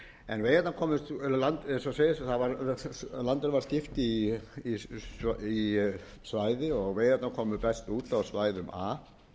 en veiðarnar komust eins og segist landinu var skipt í svæði og veiðarnar komu best út á svæðum a frá eyjahreppi og miklaholtshreppi